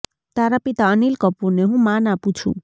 તારા પિતા અનિલ કપૂરને હું માન આપું છું